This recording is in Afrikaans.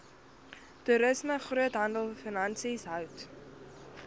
toerisme groothandelfinansies hout